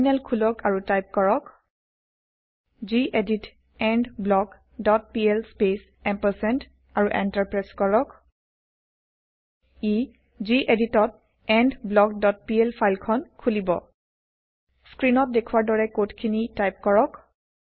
terminal খোলক আৰু type কৰক gedit endblock dot PL space ampersand আৰু এন্টাৰ প্ৰেছ কৰক ই যিএদিতত এণ্ডব্লক ডট পিএল ফাইল খন খোলিব স্ক্ৰীনত দেখুৱাৰ দৰে কোড খিনি টাইপ কৰক